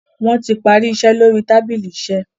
wón tí parí iṣé lórí tábìlì iṣe.